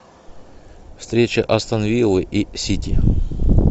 встреча астон вилла и сити